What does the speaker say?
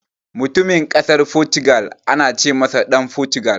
Mutumin Ƙasar Fotugal ana ce masa Ɗan Fotugal.